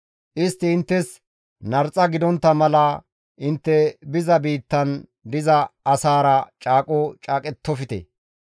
Istti inttes narxa gidontta mala intte biza biittan diza asaara caaqo caaqettofte.